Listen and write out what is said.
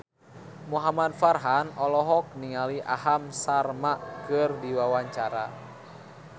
Muhamad Farhan olohok ningali Aham Sharma keur diwawancara